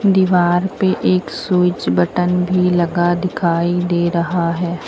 दीवार पे एक स्विच बटन भी लगा दिखाई दे रहा है।